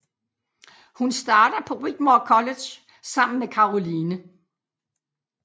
Hun starter på Whitmore College sammen med Caroline